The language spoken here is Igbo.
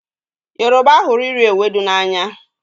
gịụba hụrụ iri ewedu n'anya